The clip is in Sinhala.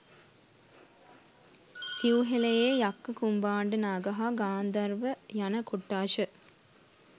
සිව්හෙළයේ යක්ඛ කුම්භාණ්ඩනාග හා ගාන්ධාර්ව යන කොට්ඨාශ